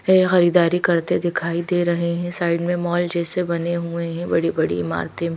ये खरीदारी करते दिखाई दे रहे हैं साइड में मॉल जैसे बने हुए हैं बड़ी बड़ी ईमारते--